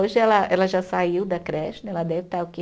Hoje ela ela já saiu da creche né, ela deve estar o quê?